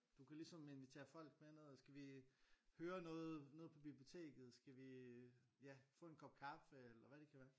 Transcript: Du kan ligesom invitere folk med ned skal vi høre noget nede på biblioteket skal vi ja få en kop kaffe eller hvad det kan være